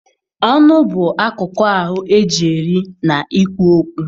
Ọnụ bụ akụkụ ahụ eji eri na ikwu okwu